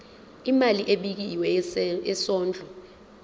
imali ebekiwe yesondlo